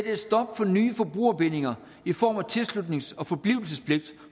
et stop for nye forbrugerbindinger i form af tilslutnings og forblivelsespligt